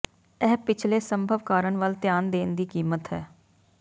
ਇਹ ਪਿਛਲੇ ਸੰਭਵ ਕਾਰਨ ਵੱਲ ਧਿਆਨ ਦੇਣ ਦੀ ਕੀਮਤ ਹੈ